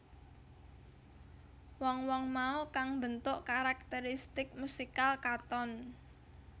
Wong wong mau kang mbentuk karakteristik musikal Katon